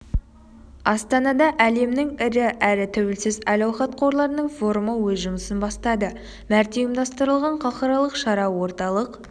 астанада әлемнің ірі әрі тәуелсіз әл-ауқат қорларының форумы өз жұмысын бастады мәрте ұйымдастырылған халықаралық шара орталық